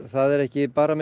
það er ekki bara